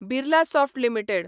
Birlasoft limited